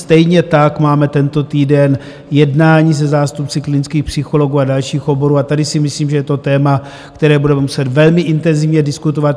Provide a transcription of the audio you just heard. Stejně tak máme tento týden jednání se zástupci klinických psychologů a dalších oborů a tady si myslím, že je to téma, které budeme muset velmi intenzivně diskutovat.